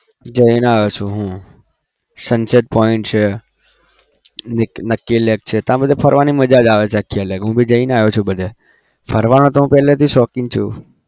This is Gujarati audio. જઈન આવ્યો છું હું sunset point છે નકકી lake છે ત્યાં બધે ફરવાની મજા જ આવે છે. આખી અલગ હું भी જઈને આવ્યો બધે ફરવાનો હું પહેલેથી શોખીન છું.